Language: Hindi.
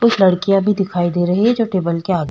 कुछ लड़कियां भी दिखाई दे रही है जो टेबल के आगे --